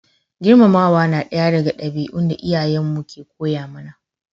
Girmamawa na daya daga dabi'un da iyayen mu ke koya mana